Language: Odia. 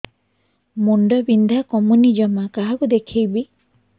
ମୁଣ୍ଡ ବିନ୍ଧା କମୁନି ଜମା କାହାକୁ ଦେଖେଇବି